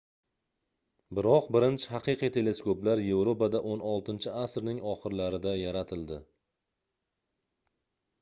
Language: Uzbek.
biroq birinchi haqiqiy teleskoplar yevropada xvi asrning oxirlarida yaratildi